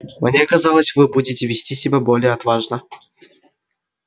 мне казалось вы будете вести себя более отважно